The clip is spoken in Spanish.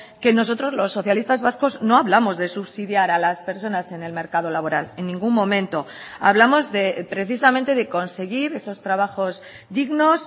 que nosotros los socialistas vascos no hablamos de subsidiar a las personas en el mercado laboral en ningún momento hablamos precisamente de conseguir esos trabajos dignos